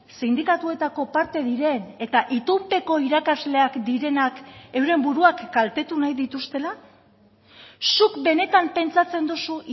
sindikatuetako parte diren eta itunpeko irakasleak direnak euren buruak kaltetu nahi dituztela zuk benetan pentsatzen duzu